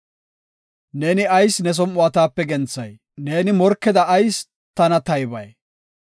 Neeni ayis ne som7uwa taape genthay? ne morkeda ayis tana taybay?